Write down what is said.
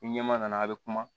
Ni ɲɛma nana a bɛ kuma